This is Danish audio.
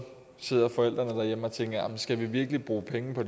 sidder forældrene derhjemme og tænker jamen skal vi virkelig bruge penge på